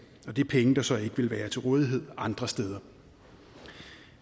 og det er penge der så ikke ville være til rådighed andre steder